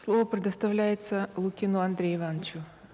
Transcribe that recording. слово предоставляется лукину андрею ивановичу